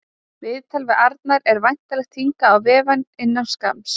Viðtal við Arnar er væntanlegt hingað á vefinn innan skamms.